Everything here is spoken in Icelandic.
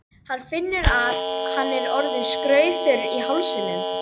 Hann finnur að hann er orðinn skraufþurr í hálsinum.